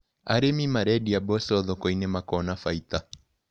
Arĩmi marendia mboco thokoinĩ makona bainda.